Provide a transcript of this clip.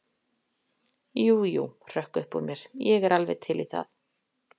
Jú, jú, hrökk upp úr mér, ég er alveg til í það.